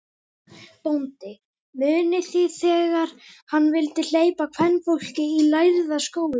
BÓNDI: Munið þið, þegar hann vildi hleypa kvenfólki í Lærða skólann.